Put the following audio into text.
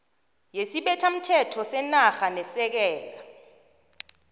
yesibethamthetho senarha nesekela